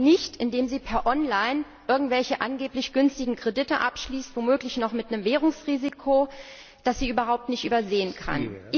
Und das geht nicht, indem sie online irgendwelche angeblich günstigen Kredite abschließt, womöglich noch mit einem Währungsrisiko, das sie überhaupt nicht überschauen kann.